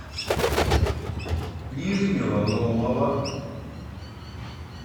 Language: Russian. нижнего ломова